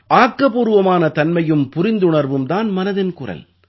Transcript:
ஆக்கப்பூர்வமான தன்மையும் புரிந்துணர்வும் தான் மனதின் குரல்